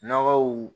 Nɔgɔw